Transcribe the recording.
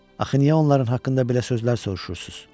Axı niyə onların haqqında belə sözlər soruşursunuz?